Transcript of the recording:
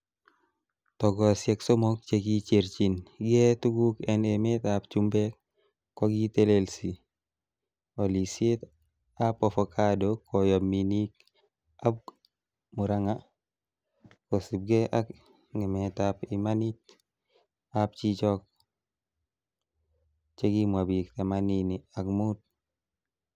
Tugosiek somok che kicherchin gee tuguk en emetab chumbek, kokitelelsi olisietab avocado koyob minik ab Murang'a, kosiibge ak ngemetab imanit ab chichok chekimwa bik themanini ak mut.